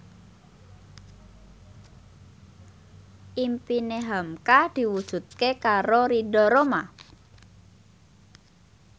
impine hamka diwujudke karo Ridho Roma